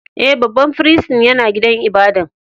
E,babban firistin ya na gidan ibada'n.